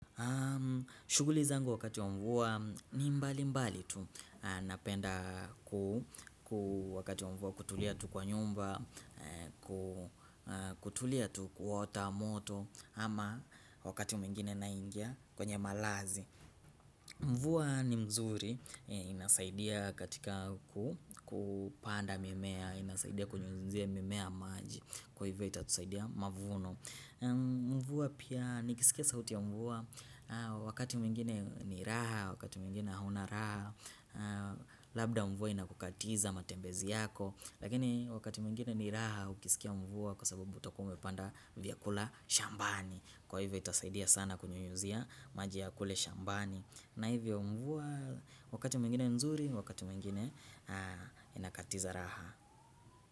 Shuguli zangu wakati wa mvua ni mbali mbali tu napenda kutulia tu kwa nyumba, kutulia tu kuota moto ama wakati mengine naingia kwenye malazi. Mvua ni mzuri, inasaidia katika kupanda mimea, inasaidia kunyunyuzia mimea maji, kwa hivyo itatusaidia mavuno. Mvua pia nikisikia sauti ya mvua Wakati mwingine ni raha, wakati mwingine hauna raha Labda mvua inakukatiza matembezi yako Lakini wakati mwingine ni raha ukisikia mvua Kwa sababu utakuwa umepanda vyakula shambani Kwa hivyo itasaidia sana kunyunyuzia maji ya kule shambani na hivyo mvua wakati mwingine nzuri, wakati mwingine inakatiza raha.